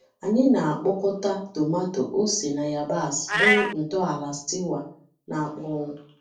Anyị na-akpọkọta tomátọ, ose, na yabasị bụrụ ntọala stewa na-akpọnwụ.